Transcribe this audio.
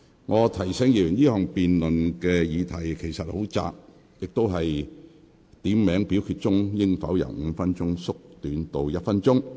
我提醒議員，這項辯論的議題其實很窄，就是點名表決鐘聲應否由5分鐘縮短至1分鐘。